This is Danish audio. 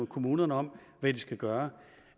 kommunerne om hvad de skal gøre